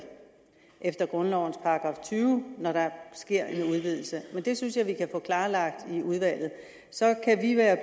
efter grundlovens § tyve når der sker en udvidelse men det synes jeg vi kan få klarlagt i udvalget så kan vi være